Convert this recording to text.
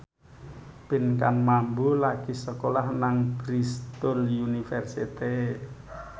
Pinkan Mambo lagi sekolah nang Bristol university